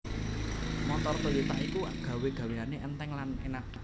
Montor Toyota iku gawe gaweane enteng lan enak